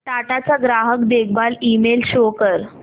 टाटा चा ग्राहक देखभाल ईमेल शो कर